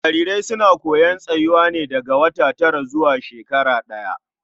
Jarirai suna koyon tsayuwa ne daga wata tara zuwa shekara ɗaya.